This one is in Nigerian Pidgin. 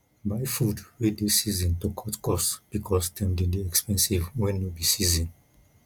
buy food wey dey season to cut cost because dem dey expensive when no be season